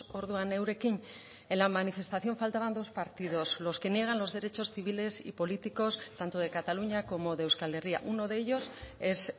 orduan eurekin en la manifestación faltaban dos partidos los que niegan los derechos civiles y políticos tanto de cataluña como de euskal herria uno de ellos es